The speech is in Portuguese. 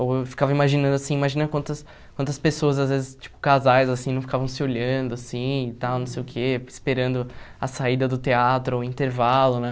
Ou eu ficava imaginando assim imagina quantas quantas pessoas, às vezes tipo casais assim, não ficavam se olhando assim, tal não sei o quê, esperando a saída do teatro, ou intervalo né.